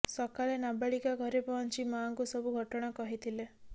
ସକାଳେ ନାବାଳିକା ଘରେ ପହଞ୍ଚି ମାଆଙ୍କୁ ସବୁ ଘଟଣା କହିଥିଲେ